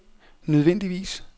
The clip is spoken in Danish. nødvendigvis